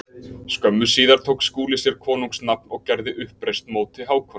Skömmu síðar tók Skúli sér konungs nafn og gerði uppreisn móti Hákoni.